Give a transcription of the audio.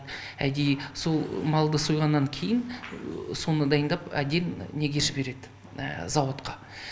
әдейі сол малды сойғаннан кейін соны дайындап әдейі неге жібереді зауытқа